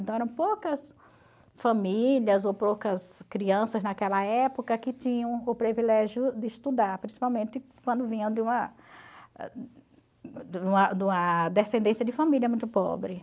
Então eram poucas famílias ou poucas crianças naquela época que tinham o privilégio de estudar, principalmente quando vinham de uma de uma descendência de família muito pobre.